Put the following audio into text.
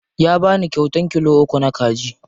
Ya bani kyauta kilo uku na kaji.